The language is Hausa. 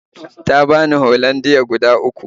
Ta bani Hollandia guda uku